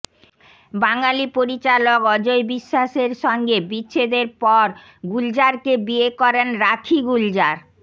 বাঙালি পরিচালক অজয় বিশ্বাসের সঙ্গে বিচ্ছেদর পর গুলজারকে বিয়ে করেন রাখি গুলজার